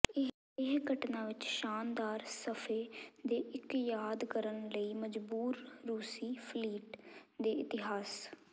ਇਹ ਘਟਨਾ ਵਿਚ ਸ਼ਾਨਦਾਰ ਸਫ਼ੇ ਦੇ ਇੱਕ ਯਾਦ ਕਰਨ ਲਈ ਮਜਬੂਰ ਰੂਸੀ ਫਲੀਟ ਦੇ ਇਤਿਹਾਸ